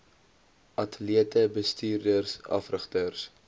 atlete bestuurders afrigters